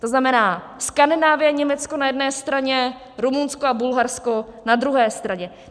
To znamená Skandinávie a Německo na jedné straně, Rumunsko a Bulharsko na druhé straně.